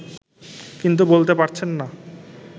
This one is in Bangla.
কিন্তু বলতে পারছেন না